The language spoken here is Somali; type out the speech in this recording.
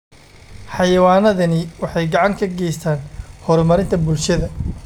Xayawaanadani waxay gacan ka geystaan ??horumarinta bulshada.